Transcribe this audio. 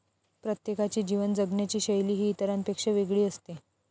प्रत्येकाची जीवन जगण्याची शैली ही इतरांपेक्षा वेगळी असते.